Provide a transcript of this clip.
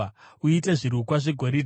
Uite zvirukwa zvegoridhe